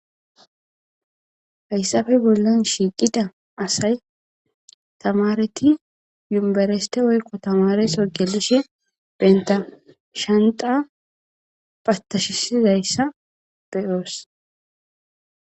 Hayssafe bollan shiiqida asay tamareti yumbereste woykko tamareso gelishe benta shanta patashisizayssa beyoos.